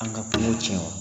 An ka kungo cɛn wa?